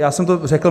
Já jsem to řekl.